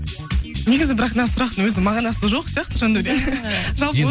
негізі бірақ мына сұрақтың өзінің мағынасы жоқ сияқты жандаурен жалпы